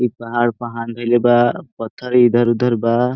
इ पहाड़ प हाथ धइले बा पत्थर इधर-उधर बा।